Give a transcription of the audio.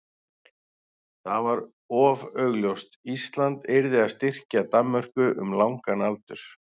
það var of augljóst: Ísland yrði að styrkja Danmörku um langan aldur.